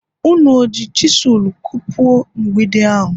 Ụnụ o ji chisụlụ kupuo mgbidi ahụ?